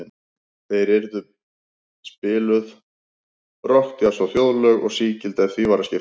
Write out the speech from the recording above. Þar yrði spiluð tónlist, rokk, djass og þjóðlög, og sígild ef því var að skipta.